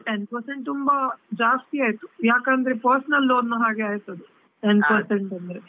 Ten percent ತುಂಬಾ ಜಾಸ್ತಿಯಾಯ್ತು ಯಾಕಂದ್ರೆ personal loan ನ ಹಾಗೆ ಆಯ್ತು ಅದು, ten percent .